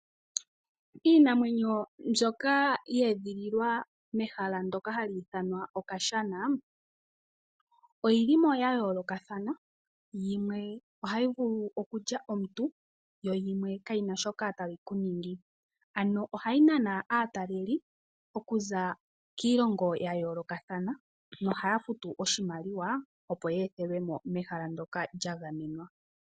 Iinamwenyo mbyoka ye edhililwa mehala ndoka hali ithanwa okashana, oyi limo ya yoolokathana, yimwe ohayi vulu okulya aantu, yo yimwe ka yina shoka tayi ku ningi. Ano ohayi nana aataleli okuza kiilongo ya yoolokathana nohaya fitu oshimaliwa, opo ye ethelwe mo mehala ndoka lya gamenwa.